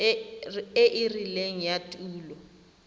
e e rileng ya tulo